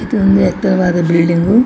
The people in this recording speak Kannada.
ಇದು ಒಂದು ಎತ್ತರವಾದ ಬಿಲ್ಡಿಂಗ್ ಗು .